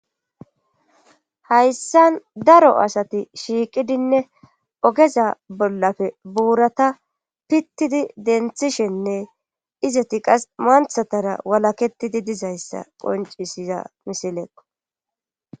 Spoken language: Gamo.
hayssan daro asati shiiqidinne ogeza bollappe buurata pittidi denthishenne izati qase manthatara walaketidi dizayssa qoncisiza misilekko